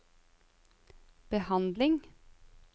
behandling